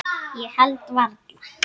Ég held varla.